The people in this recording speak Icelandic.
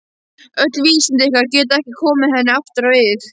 Öll vísindi ykkar geta ekki komið henni aftur á ið.